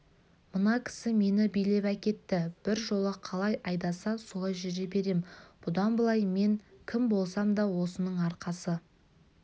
мына кісі мені билеп әкетті біржола қалай айдаса солай жүре берем бұдан былай мен кім болсам да осының арқасы